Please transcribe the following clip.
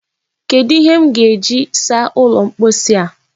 Kedụ ihe m ga-eji saa ụlọ mposi a?